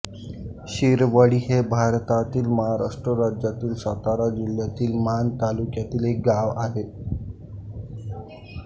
शिरवळी हे भारतातील महाराष्ट्र राज्यातील सातारा जिल्ह्यातील माण तालुक्यातील एक गाव आहे